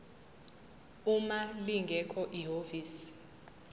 uma lingekho ihhovisi